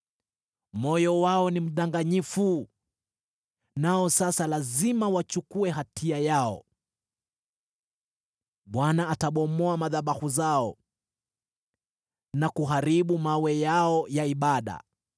Moyo wao ni mdanganyifu, nao sasa lazima wachukue hatia yao. Bwana atabomoa madhabahu zao na kuharibu mawe yao ya ibada.